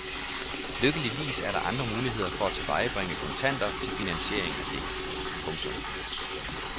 Lykkeligvis er der andre muligheder for at tilvejebringe kontanter til finansiering af det. punktum